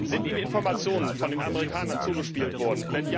Sind Ihnen Informationen von den Amerikanern zugespielt worden?